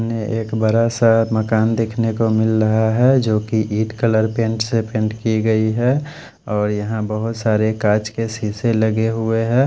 एक बड़ा सा मकान देख ने को मिल रहा है जो की ईट कलर पैंट से पैंट की गयी है और यहाँ बहत सारे कच के सीसे लगे हुए है।